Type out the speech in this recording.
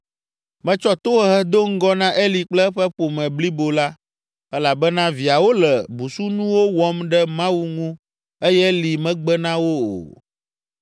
Metsɔ tohehe do ŋgɔ na Eli kple eƒe ƒome blibo la elabena viawo le busunuwo wɔm ɖe Mawu ŋu eye Eli megbe na wo o.